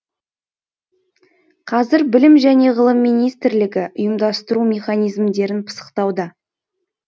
қазір білім және ғылым министрлігі ұйымдастыру механизмдерін пысықтауда